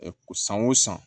Ɛɛ san o san